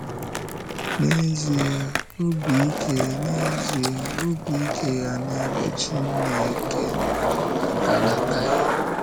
N’ezie, ọ̀bì ike N’ezie, ọ̀bì ike ya n’ebe Chínkè nọ adalátaghị.